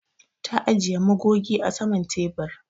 Ta ajiƴe magoge a saman teɓur.